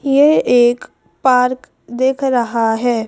ये एक पार्क दिख रहा है।